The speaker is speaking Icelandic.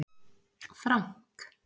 Frank